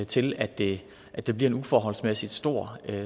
til at det at det bliver en uforholdsmæssig stor